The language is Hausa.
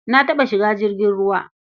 Na taɓa shiga jirgin ruwa.